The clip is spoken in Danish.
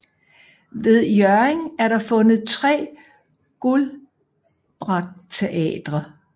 Ved Hjørring er der fundet 3 guldbrakteater